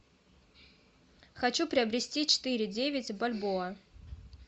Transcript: хочу приобрести четыре девять бальбоа